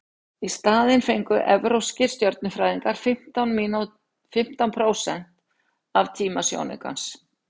í staðinn fengu evrópskir stjörnufræðingar fimmtán prósent af tíma sjónaukans